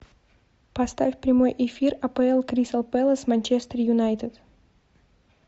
поставь прямой эфир апл кристал пэлас манчестер юнайтед